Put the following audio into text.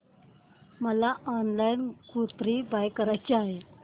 मला online kurti buy करायची आहे